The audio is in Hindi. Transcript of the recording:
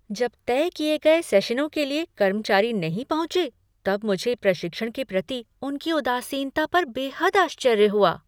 जब तय किए गए सेशनों के लिए कर्मचारी नहीं पहुँचे तब मुझे प्रशिक्षण के प्रति उनकी उदासीनता पर बेहद आश्चर्य हुआ।